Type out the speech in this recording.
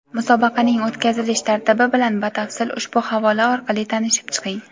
Musobaqaning o‘tkazilish tartibi bilan batafsil ushbu havola orqali tanishib chiqing!.